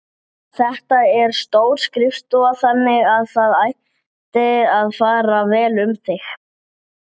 Gleðin var til staðar.